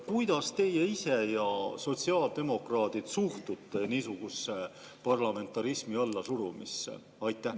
Kuidas teie ise suhtute ja üldse sotsiaaldemokraadid suhtuvad niisugusesse parlamentarismi allasurumisse?